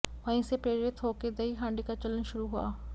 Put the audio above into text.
वहीं से प्रेरित होकर दही हांडी का चलन शुरू हुआ